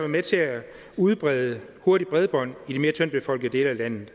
med til at udbrede hurtigt bredbånd i de mere tyndt befolkede dele af landet